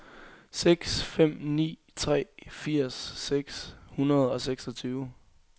seks fem ni tre firs seks hundrede og seksogtyve